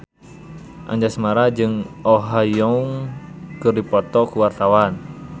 Anjasmara jeung Oh Ha Young keur dipoto ku wartawan